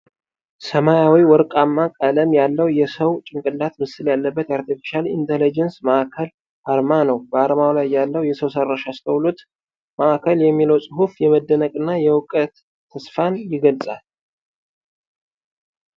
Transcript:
ሰማያዊና ወርቃማ ቀለም ያለው፣ የሰው ጭንቅላት ምስል ያለበት የአርቴፊሻል ኢንተለጀንስ ማዕከል አርማ ነው። በዓርማው ላይ ያለው የሰው ሰራሽ አስተውሎት ማዕከል የሚለው ጽሑፍ የመደነቅንና የእውቀት ተስፋን ይገልጻል።